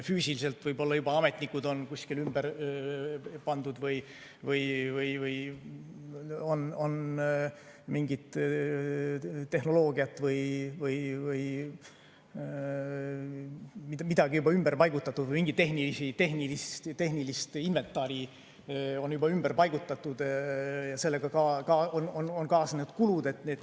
Füüsiliselt võib-olla juba ametnikud on kuskil ümber paigutatud või on mingit tehnoloogiat ümber paigutatud või mingit tehnilist inventari on ümber paigutatud ja sellega on kaasnenud kulud.